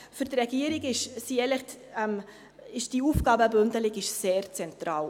Für die Regierung ist die Aufgabenbündelung sehr zentral.